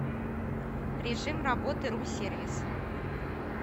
режим работы рум сервиса